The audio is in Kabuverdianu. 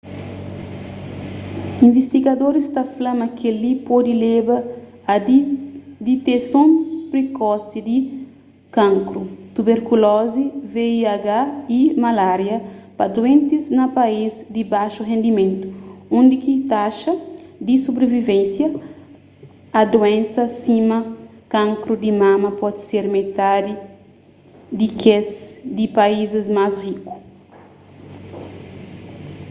invistigadoris ta fla ma kel-li pode leba a diteson prikosi di kankru tuberkulozi vih y malária pa duentis na país di baxu rendimentu undi ki taxa di subrivivénsia a duénsa sima kankru di mama pode ser metadi di kes di paízis más riku